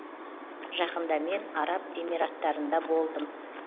жақында мен араб эмираттарында болдым